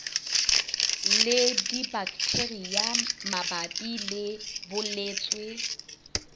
le dibaktheria mabapi le bolwetse